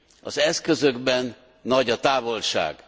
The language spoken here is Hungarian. Az eszközökben nagy a távolság.